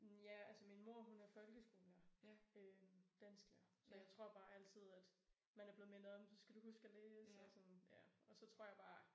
Ja altså min mor hun er folkeskolelærer øh dansklærer. Så jeg tror bare altid at man er blevet mindet om så skal du huske at læse og sådan ja og så tror jeg bare